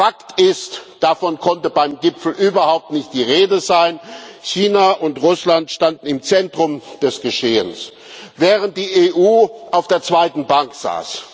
Fakt ist Davon konnte beim Gipfel überhaupt nicht die Rede sein. China und Russland standen im Zentrum des Geschehens, während die EU auf der zweiten Bank saß.